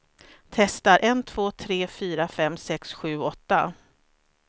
Testar en två tre fyra fem sex sju åtta.